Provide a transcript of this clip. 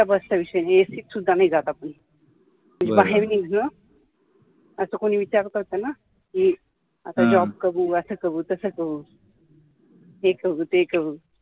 तर आता बसचा विषय जे AC त सुद्धा मी जात नाय आपण म्हणजे बाहेरून असा कोणी विचारतं ना कि job करू असा करू तसा करू हे करू ते करू